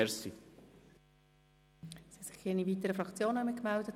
Es haben sich keine weiteren Fraktionen gemeldet.